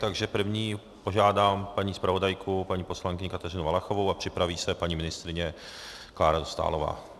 Takže první požádám paní zpravodajku paní poslankyni Kateřinu Valachovou a připraví se paní ministryně Klára Dostálová.